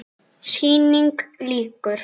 Sýningu lýkur.